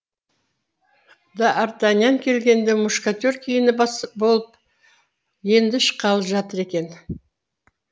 д артаньян келгенде мушкетер киініп болып енді шыққалы жатыр екен